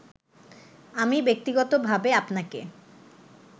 আমি ব্যক্তিগতভাবে আপনাকে